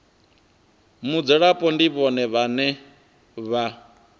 mudzulapo ndi vhone vhane vha